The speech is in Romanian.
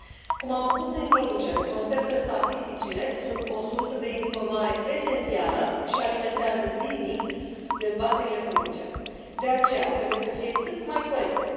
Cum am spus în introducere, consider că statisticile sunt o sursă de informare esențială și alimentează zilnic dezbaterile publice, de aceea trebuie să fie cât mai corecte.